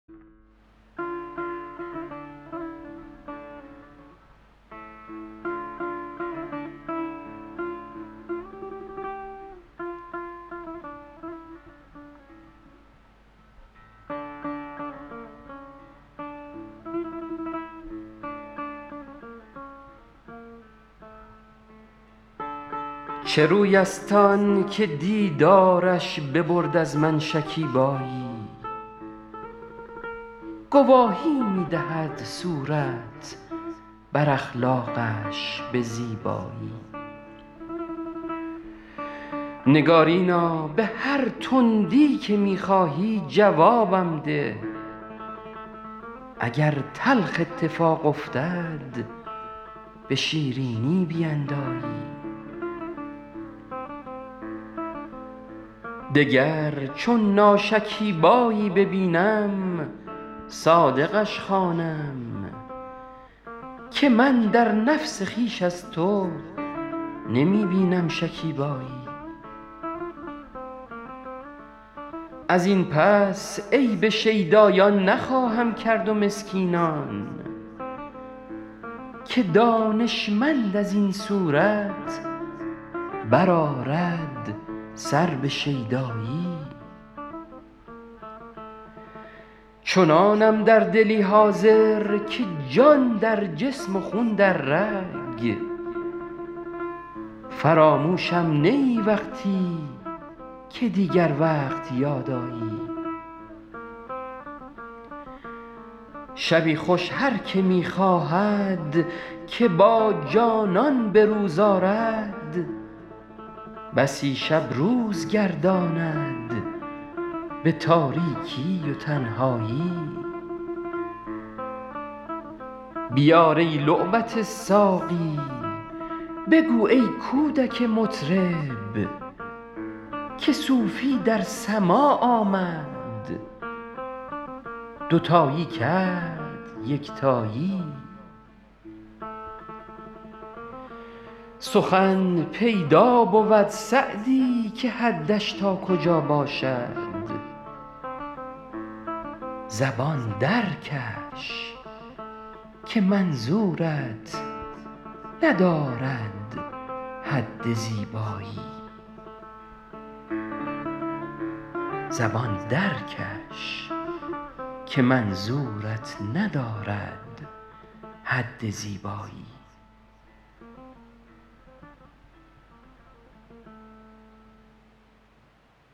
چه روی است آن که دیدارش ببرد از من شکیبایی گواهی می دهد صورت بر اخلاقش به زیبایی نگارینا به هر تندی که می خواهی جوابم ده اگر تلخ اتفاق افتد به شیرینی بیندایی دگر چون ناشکیبایی ببینم صادقش خوانم که من در نفس خویش از تو نمی بینم شکیبایی از این پس عیب شیدایان نخواهم کرد و مسکینان که دانشمند از این صورت بر آرد سر به شیدایی چنانم در دلی حاضر که جان در جسم و خون در رگ فراموشم نه ای وقتی که دیگر وقت یاد آیی شبی خوش هر که می خواهد که با جانان به روز آرد بسی شب روز گرداند به تاریکی و تنهایی بیار ای لعبت ساقی بگو ای کودک مطرب که صوفی در سماع آمد دوتایی کرد یکتایی سخن پیدا بود سعدی که حدش تا کجا باشد زبان درکش که منظورت ندارد حد زیبایی